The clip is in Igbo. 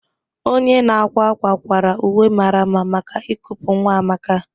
Onye na-akwa akwa kwara uwe mara mma maka ikupu nwa Amaka.